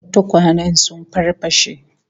Tukwanen sun farfashe